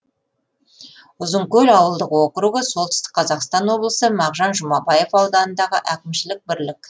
ұзынкөл ауылдық округі солтүстік қазақстан облысы мағжан жұмабаев ауданындағы әкімшілік бірлік